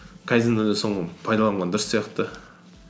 кайдзенде де соны пайдаланған дұрыс сияқты